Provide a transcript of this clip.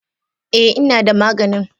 e, ina da maganin.